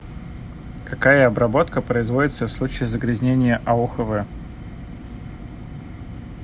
какая обработка производится в случае загрязнения аохв